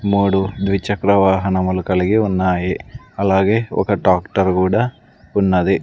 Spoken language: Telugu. మూడు ద్విచక్ర వాహనములు కలిగి ఉన్నాయి అలాగే ఒక డాక్టర్ కూడా ఉన్నది.